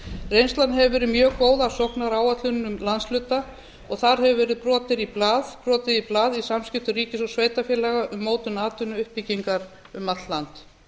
reynslan hefur verið mjög góð af sóknaráætlunum landshluta og þar hefur verið brotið í blað í samskiptum ríkis og sveitarfélaga um mótun atvinnuuppbyggingar um allt land